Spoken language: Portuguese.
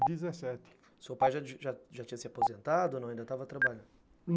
O seu pai já já tinha se aposentado ou não? ainda estava trabalhando?